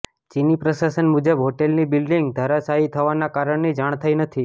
ચીની પ્રશાસન મુજબ હોટલની બિલ્ડીંગ ધરાશાયી થવાના કારણની જાણ થઇ નથી